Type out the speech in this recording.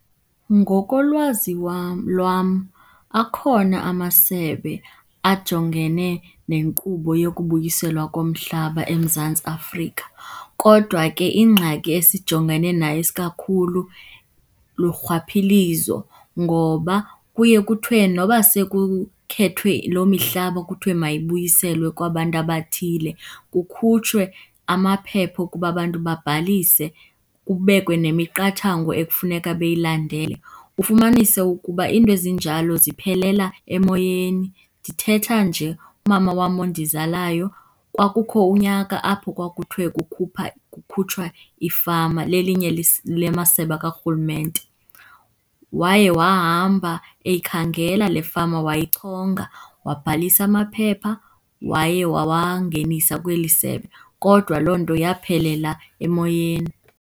Ngokolwazi wam lwam akhona amasebe ajongene nenkqubo yokubuyiselwa komhlaba eMzantsi Afrika, kodwa ke ingxaki esijongene nayo isikakhulu lurhwaphilizo. Ngoba kuye kuthiwe noba sekukhethwe loo mihlaba kuthiwe mayibuyiselwe kwabantu abathile, kukhutshwe amaphepha okuba abantu babhalise, kubekwe nemiqathango ekufuneka beyilandele, ufumanise ukuba into ezinjalo ziphelela emoyeni. Ndithetha nje, umama wam ondizalayo, kwakukho unyaka apho kwakuthiwe kukhupha kukhutshwa iifama lelinye lamasebe karhulumente. Waye wahamba eyikhangela le fama wayichonga, wabhalisa amaphepha waye wawangenisa kweli sebe, kodwa loo nto yaphelela emoyeni.